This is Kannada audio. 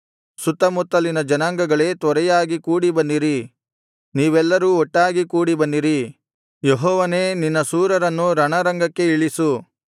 ಸುತ್ತಮುತ್ತಲಿನ ಜನಾಂಗಗಳೇ ತ್ವರೆಯಾಗಿ ಕೂಡಿಬನ್ನಿರಿ ನೀವೆಲ್ಲರೂ ಒಟ್ಟಾಗಿ ಕೂಡಿಬನ್ನಿರಿ ಯೆಹೋವನೇ ನಿನ್ನ ಶೂರರನ್ನು ರಣರಂಗಕ್ಕೆ ಇಳಿಸು